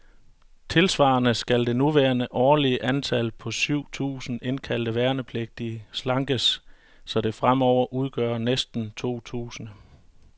Tilsvarende skal det nuværende årlige antal, på syv tusinde indkaldte værnepligtige, slankes, så det fremover udgør omkring to tusinde.